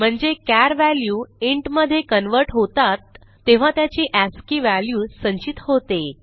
म्हणजे चार value int मधे कन्व्हर्ट होतात तेव्हा त्याची अस्की व्हॅल्यू संचित होते